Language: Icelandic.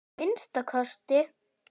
Að minnsta kosti.